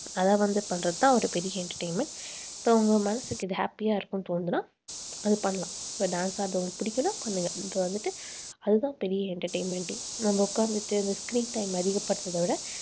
அதை வந்து பண்றதுதான் ஒரு பெரிய entertainment so உங்க மனசுக்கு இது happy ஆ இருக்கும்னு தோணுதுன்னா அது பண்ணலாம். இப்ப dance ஆடுறது உங்களுக்கு பிடிக்கணும் பண்ணுங்க இப்ப வந்துட்டு அதுதான் பெரிய entertainment ஏ நம்ம உட்கார்ந்துட்டு அந்த screen time அதிகப்படுத்துறதை விட